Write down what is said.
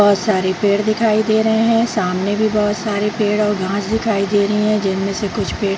बहुत सारे पेड़ दिखाई दे रहे हैं | सामने भी बहुत सारे पेड़ और घास दिखाई दे रहे हैं जिनमे से कुछ पेड़ --